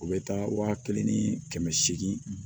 U bɛ taa waa kelen ni kɛmɛ seegin